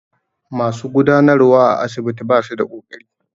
Masu gudanarwa a asibitin basu da kokari.